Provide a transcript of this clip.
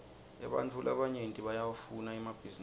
ebantfu labanyenti bayawafuna emabhninisi